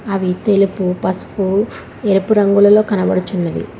అవి తెలుపూ పసుపు ఎరుపు రంగులలో కన్పడుచున్నవి.